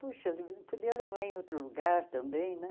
Puxa, não podia levar em outro lugar também, né?